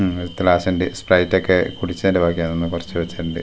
ഉം സ്പ്രൈറ്റൊക്കെ കൂടിച്ചേന്റെ ബാക്കിയാണെന്ന് തോന്നുന്നു കൊർച്ച് വെച്ചിട്ടുണ്ട്.